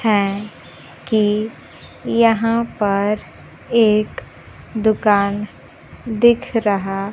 है कि यहां पर एक दुकान दिख रहा--